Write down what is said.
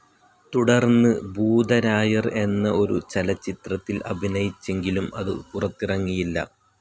തുടർന്ന് ഭൂതരായർ എന്ന ഒരു ചലച്ചിത്രത്തിൽ അഭിനയിച്ചെങ്കിലും അതു പുറത്തിറങ്ങിയില്ല.